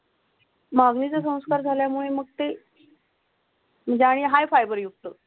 माग अग्निणीचा संस्कार झाल्यामुळे मग ते म्हणजे आणि हाय फायबर युक्त.